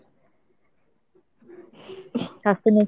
স্বাস্থ্য নিয়ে,